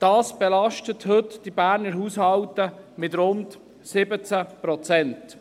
Es belastet heute die Berner Haushalte mit rund 17 Prozent.